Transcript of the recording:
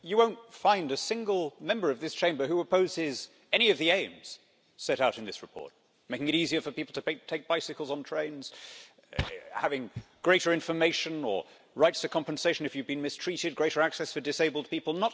Mr President, you won't find a single Member of this Chamber who opposes any of the aims set out in this report making it easier for people to take bicycles on trains, having greater information or rights to compensation if you have been mistreated, greater access for disabled people.